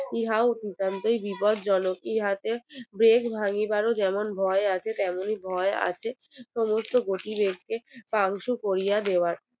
ইহাও বিপদজনক ইহাতে দেশ ভাঙিবার ও যেমন ভয় আছে তেমনি তেমনি ভয় আছে সমস্ত দোষী দেরকে Pum shoe পরিয়ে দেওয়ার